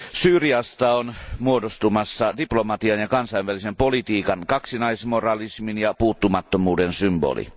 Syyriasta on muodostumassa diplomatian ja kansainvälisen politiikan kaksinaismoralismin ja puuttumattomuuden symboli.